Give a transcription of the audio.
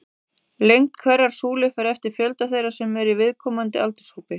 Lengd hverrar súlu fer eftir fjölda þeirra sem eru í viðkomandi aldurshópi.